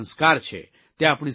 એ આપણી સંસ્કૃતિ છે